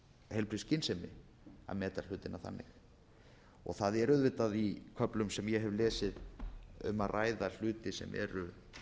heilbrigð skynsemi að meta hlutina þannig og það er auðvitað í köflum sem ég hef lesið um að ræða hluti sem eru